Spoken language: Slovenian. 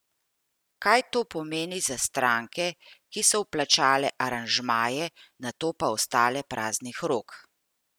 Kaj to pomeni za stranke, ki so vplačale aranžmaje, nato pa ostale praznih rok?